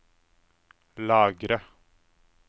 lagre